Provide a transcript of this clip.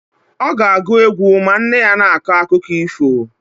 Ọ ga-agụ egwu ma nne ya na-akọ akụkọ ifo.